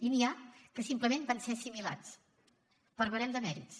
i n’hi ha que simplement van ser assimilats per barem de mèrits